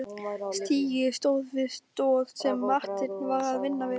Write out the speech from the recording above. Stigi stóð við stoð sem Marteinn var að vinna við.